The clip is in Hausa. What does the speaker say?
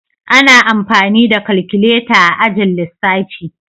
Ana amfani da kalkuleta a ajin lissafi.